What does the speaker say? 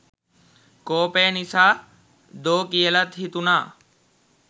කෝපය නිසා දෝ කියලත් හිතුන.